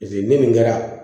min kɛra